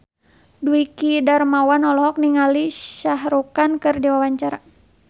Dwiki Darmawan olohok ningali Shah Rukh Khan keur diwawancara